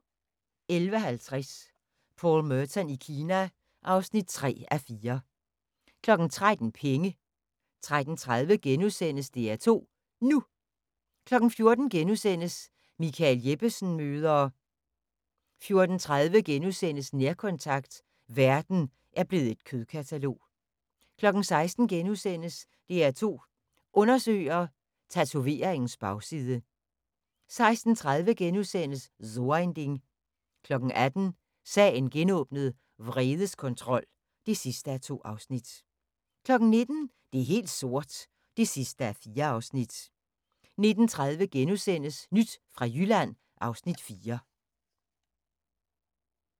11:50: Paul Merton i Kina (3:4) 13:00: Penge 13:30: DR2 NU * 14:00: Michael Jeppesen møder ...* 14:30: Nærkontakt – verden er blevet et kødkatalog * 16:00: DR2 Undersøger: Tatoveringens bagside * 16:30: So ein Ding * 18:00: Sagen genåbnet: Vredeskontrol (2:2) 19:00: Det er helt sort (4:4) 19:30: Nyt fra Jylland (Afs. 4)*